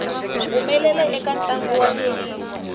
humelela eka ntlangu wa thenisi